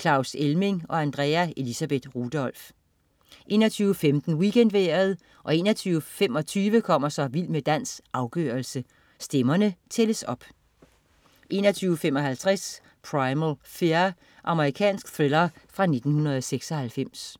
Claus Elming og Andrea Elisabeth Rudolph 21.15 WeekendVejret 21.25 Vild med dans. Afgørelsen. Stemmerne tælles op 21.55 Primal Fear. Amerikansk thriller fra 1996